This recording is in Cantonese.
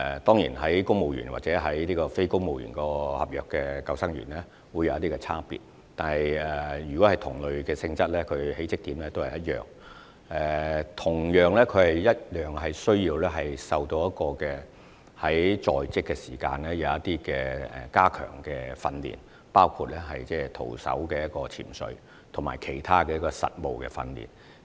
當然，公務員或非公務員合約的救生員會有一些差別，但如果是同類性質的，入職點也是一樣，並同樣需要接受一些在職加強訓練，包括徒手潛水及其他實務訓練。